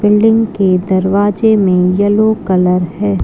Building के दरवाजे में येलो कलर है।